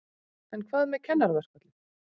En hvað með kennaraverkfallið?